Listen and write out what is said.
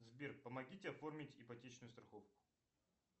сбер помогите оформить ипотечную страховку